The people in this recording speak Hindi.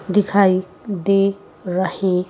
दिखाई दे रही --